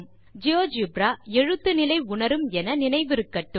GeoGebra எழுத்து நிலை உணரும் என நினைவிருக்கட்டும்